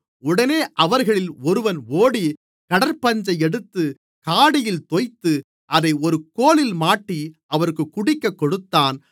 உடனே அவர்களில் ஒருவன் ஓடி கடற்பஞ்சை எடுத்து காடியில் தோய்த்து அதை ஒரு கோலில் மாட்டி அவருக்குக் குடிக்கக்கொடுத்தான்